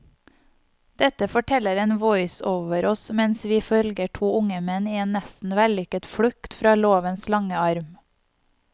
Dette forteller en voiceover oss mens vi følger to unge menn i en nesten vellykket flukt fra lovens lange arm.